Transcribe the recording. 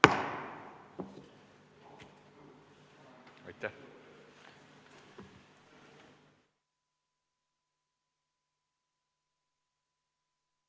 Istungi lõpp kell 17.52.